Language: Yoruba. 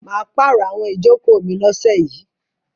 Mà á pàrọ̀ àwọn ìjókòó mi lọ́sẹ̀ yìí.